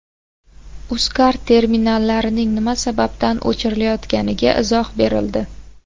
Uzcard terminallarining nima sababdan o‘chirilayotganiga izoh berildi.